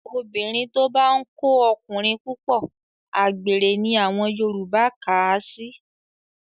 Obìnrin tó bá ń kó ọkùnrin púpọ̀, àgbèrè ni àwọn Yorùbá kà á sí